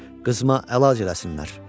Qızıma əlac eləsinlər.